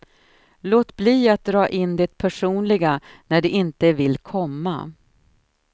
Låt bli att dra in det personliga när det inte vill komma.